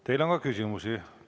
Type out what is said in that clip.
Teile on ka küsimusi.